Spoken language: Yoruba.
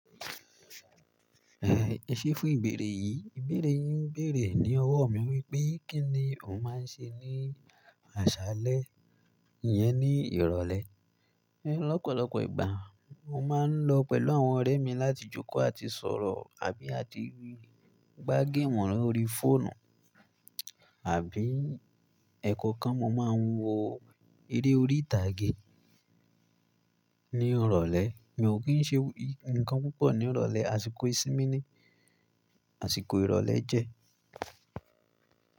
Ẹ ṣé fún ìbéèrè yìí. Ìbéèrè yìí ń béèrè ní ọwọ́ mi wípé, kí ni o máa ń ṣe ní àṣálẹ́ yẹn ní ìrọ̀lẹ́? Lọ́pọ̀lọpọ̀ ìgbà, mo máa ń lọ pẹ̀lú àwọn ọ̀rẹ́ mi láti jókòó àti sọ̀rọ̀ àbí àti gbá géèmù lórí fóònù àbí ẹ̀kọ́ kan mo máa ń wo eré orí ìtàgé ní ìrọ̀lẹ́. Mi ò kí ń ṣe nǹkan púpọ̀ ní ìrọ̀lẹ́, àsìkò ìsinmi ni àsìkò ìrọ̀lẹ́ jẹ́.